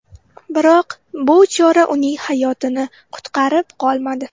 Biroq bu chora uning hayotini qutqarib qolmadi.